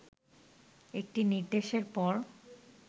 একটি নির্দেশের পর